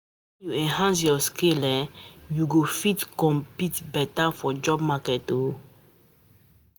Nah when u enhance ya skills na em u go fit compete beta for job market oo